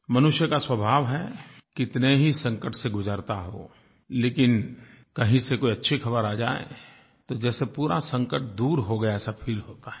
मनुष्य का स्वभाव है कितने ही संकट से गुजरता हो लेकिन कहीं से कोई अच्छी ख़बर आ जाए तो जैसे पूरा संकट दूर हो गया ऐसा फील होता है